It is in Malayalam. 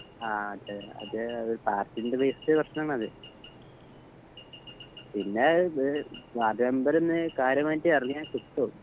ആ അതെ അത് അവര് പാർട്ടിൻറ്‍റെ ബെയ്‌സ്ല് പ്രേശ്നങ്ങളാ അത് പിന്നെ ത് വാർഡ് മെമ്പർ ന്ന് കാര്യമായിട്ട് എറങ്ങിയ കിട്ടും